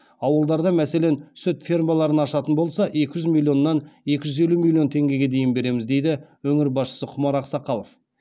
ауылдарда мәселен сүт фермаларын ашатын болса екі жүз миллионнан екі жүз елу миллион теңгеге дейін береміз дейді өңір басшысы құмар ақсақалов